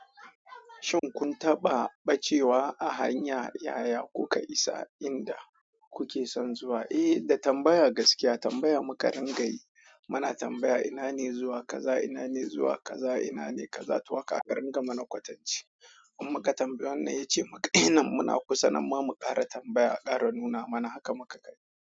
Shin kun taɓa bacewa a hanya yaya kuka isa inda kuke son zuwa? Eh, da tambaya gaskiya tambaya muka rinƙa yi. Muna tambaya ina ne zuwa kaza, ina ne zuwa kaza, ina ne kaza, to haka aka ringa mana kwatanci. In muka tambayi wannan ya ce maka, "Eh nan muna kusa." Amma mu ƙara tambaya, ƙara nuna mana haka muka gani.